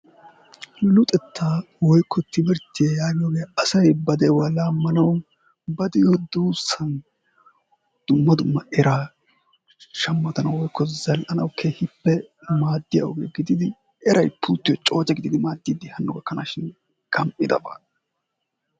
Luxettaa woykko timirttiya yaagiyoge asayi ba de'uwa laammanawu ba de'iyo duussawu dumma dumma eraa shammanawu woykko zall"anawu keehippe maaddiya oge gididi erayi pulttiyo cooce gididi maaddiiddi hanno gakkanaashin gam"idaba.